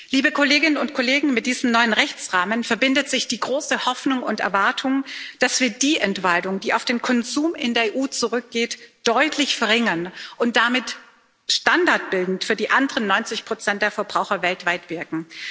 Liebe Kolleginnen und Kollegen, mit diesem neuen Rechtsrahmen verbindet sich die große Hoffnung und Erwartung, dass wir die Entwaldung, die auf den Konsum in der EU zurückgeht, deutlich verringern und damit standardbildend für die anderen 90 der Verbraucher weltweit wirken.